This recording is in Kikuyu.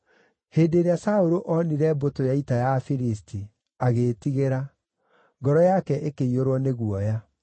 Hĩndĩ ĩrĩa Saũlũ, onire mbũtũ ya ita ya Afilisti, agĩĩtigĩra; ngoro yake ĩkĩiyũrwo nĩ guoya.